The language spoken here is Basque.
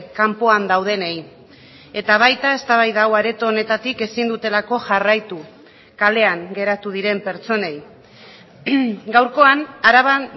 kanpoan daudenei eta baita eztabaida hau areto honetatik ezin dutelako jarraitu kalean geratu diren pertsonei gaurkoan araban